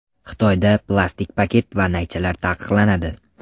Xitoyda plastik paket va naychalar taqiqlanadi.